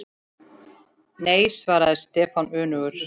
Nei svaraði Stefán önugur.